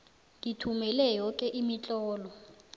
ngithumele yoke imitlolo